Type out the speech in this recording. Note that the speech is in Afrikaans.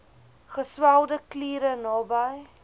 geswelde kliere naby